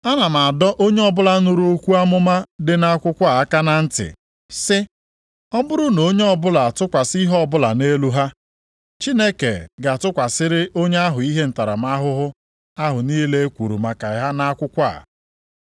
Ana m adọ onye ọbụla nụrụ okwu amụma dị nʼakwụkwọ a aka na ntị, sị, ọ bụrụ na onye ọbụla atụkwasị ihe ọbụla nʼelu ha, Chineke ga-atụkwasịrị onye ahụ ihe ntaramahụhụ ahụ niile e kwuru maka ha nʼakwụkwọ a.